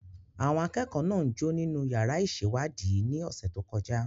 Àwọn akẹ́kọ̀ọ́ náà ń jó nínú yàrá ìṣèwádìí ní ọ̀sẹ̀ tó kọjá.